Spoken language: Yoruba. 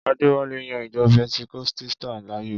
Adéwálé yan ìjọ pẹntikọ́sítà láàyò.